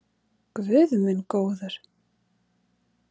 Guð minn góður!